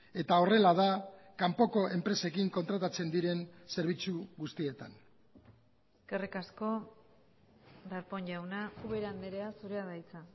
eta horrela da kanpoko enpresekin kontratatzen diren zerbitzu guztietan eskerrik asko darpón jauna ubera andrea zurea da hitza